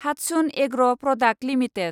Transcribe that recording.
Hatsun agro product limited